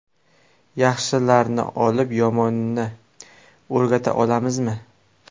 Yaxshilarni olib, yomonni o‘rgata olamizmi?